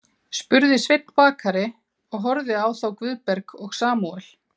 spurði Sveinn bakari og horfði á þá Guðberg og Samúel.